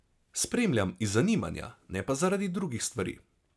Spremljam iz zanimanja, ne pa zaradi drugih stvari.